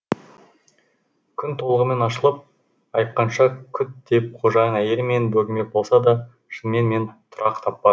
күн толығымен ашылып айыққанша күт деп қожайын әйел мені бөгемек болса да шынымен мен тұрақ таппа